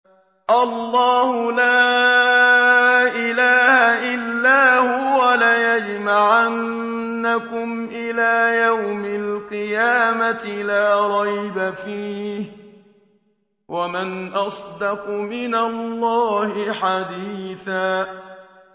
اللَّهُ لَا إِلَٰهَ إِلَّا هُوَ ۚ لَيَجْمَعَنَّكُمْ إِلَىٰ يَوْمِ الْقِيَامَةِ لَا رَيْبَ فِيهِ ۗ وَمَنْ أَصْدَقُ مِنَ اللَّهِ حَدِيثًا